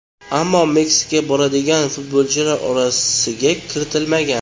Ammo Meksikaga boradigan futbolchilar orasiga kiritilmagan.